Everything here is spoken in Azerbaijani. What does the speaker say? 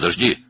Gözlə!